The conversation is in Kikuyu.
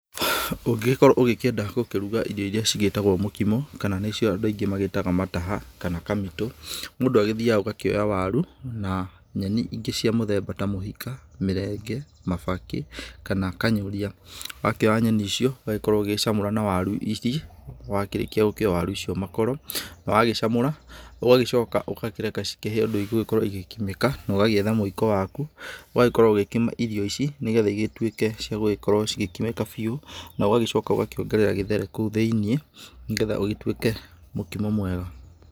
Ũngĩgĩkorwo ũgĩkĩenda gũkĩruga irio iria cigĩtagwo mũkimo kana nĩ cio andũ aingi magĩtaga mataha kana kamitũ. Mũndũ agĩthiaga ũgakĩoya waru na nyeni ingĩ cia mũthemba ta mũhika, mĩrenge mabakĩ kana kanyũria, wakĩoya nyeni icio ũgagĩkorwo ũgĩcamũra na waru icio. Wakĩrĩkia gũkĩũa waru makoro na wagĩcamura ũgagĩcoka ũgakĩreka cikĩhĩe ũndũ igũkorwo igĩkĩmĩka na ũgagĩetha mũiko waku ũgakorwo ũgĩkima irio ici nĩ getha igĩtuĩke ciagũgĩkorwo igĩkimĩka biũ. Na ũgagĩcoka ũgakĩongerera gĩthere kũu thĩiniĩ nĩ getha ũgĩtuĩke mũkimo mwega.